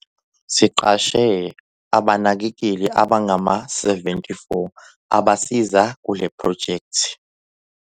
"Siqashe abanakekeli abangama-74 abasiza kule phrojekthi."